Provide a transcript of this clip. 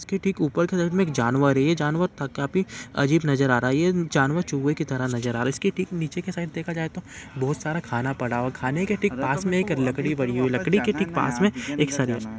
इसके ठीक ऊपर की तरफ में एक जानवर है। ये जानवर थक काफी अजीब नजर आ रहा है। ये जानवर चूहे की तरह नजर आ रहा है इसके ठीक नीचे की साइड में देखा जाये तो बोहत सारा खाना पड़ा हुआ है खाने के ठीक पास में एक लकड़ी पड़ी हुई है। लकड़ी के ठीक पास में एक स --